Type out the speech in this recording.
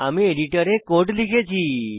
আমি এডিটরে কোড লিখেছি